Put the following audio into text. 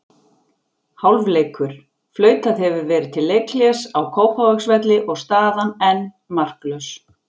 Hálfleikur: Flautað hefur verið til leikhlés á Kópavogsvelli og staðan enn markalaus.